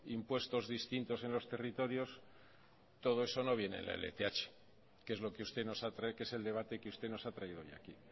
impuestos distintos en los territorios todo eso no viene en la lth que es el debate que usted nos ha traído hoy aquí